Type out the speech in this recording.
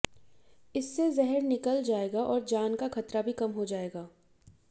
इससे जहर निकल जाएगा और जान का खतरा भी कम हो जाएगा